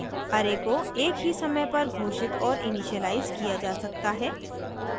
* array को एक ही समय पर घोषित और इनिशियलाइज़ किया जा सकता है